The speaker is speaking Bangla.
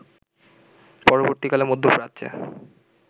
পরবর্তীকালে মধ্যপ্রাচ্যে